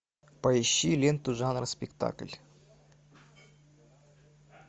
поищи ленту жанра спектакль